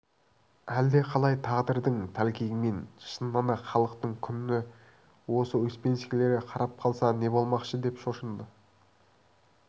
әлдеқалай тағдырдың тәлкегімен шыннан-ақ халықтың күні осы успенскийлерге қарап қалса не болмақшы деп шошыды